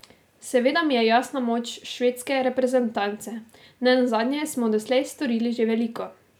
Seveda mi je jasna moč švedske reprezentance, nenazadnje smo doslej storili že veliko.